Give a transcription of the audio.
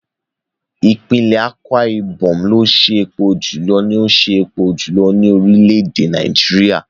Ìpínlẹ̀ Akwa Ibom ló ṣe epo jùlọ ní ó ṣe epo jùlọ ní orílẹ̀ èdè Nàìjíríà.